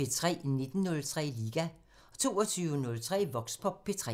19:03: Liga 22:03: Voxpop P3